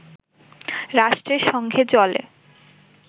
রাষ্ট্রের সঙ্গে চলে